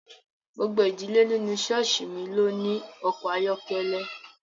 Gbogbo ìdílé nínú ṣọ́ọ̀ṣì mi ló ní ọkọ̀ ayọ́kẹ́lẹ́